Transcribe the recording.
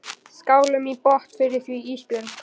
Skálum í botn fyrir því Ísbjörg.